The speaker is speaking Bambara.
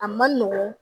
A man nɔgɔn